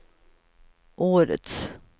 årets